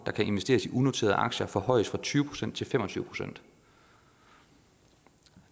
der kan investeres i unoterede aktier forhøjes fra tyve procent til fem og tyve procent det